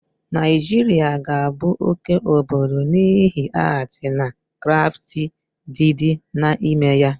Naịjiria ga abụ oke obodo n'ihi atii na krafti dịd na ime ya